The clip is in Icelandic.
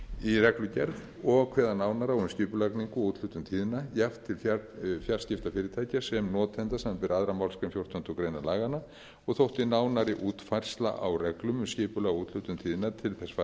í reglugerð og kveða nánar á um skipulagningu og úthlutun tíðna jafnt til fjarskiptafyrirtækja sem notenda samanber aðra málsgrein fjórtándu greinar laganna og þótti nánari útfærsla á reglum um skipulag og úthlutun tíðna til þess fallin að auka gæði stjórnsýslu á þessu